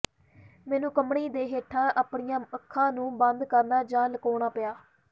ਮੈਨੂੰ ਕੰਬਣੀ ਦੇ ਹੇਠਾਂ ਆਪਣੀਆਂ ਅੱਖਾਂ ਨੂੰ ਬੰਦ ਕਰਨਾ ਜਾਂ ਲੁਕਾਉਣਾ ਪਿਆ